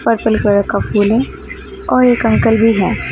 Purple colour का फूल है और एक अंकल भी हैं।